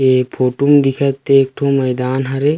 ऐ फोटु में दिखत ते ठो मैदान हरे।